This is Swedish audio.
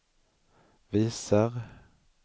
visar